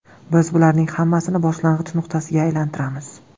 Biz bularning hammasini boshlang‘ich nuqtasiga aylantiramiz.